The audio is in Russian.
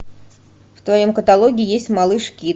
в твоем каталоге есть малыш кид